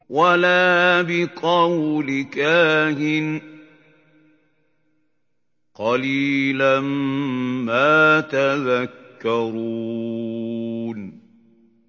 وَلَا بِقَوْلِ كَاهِنٍ ۚ قَلِيلًا مَّا تَذَكَّرُونَ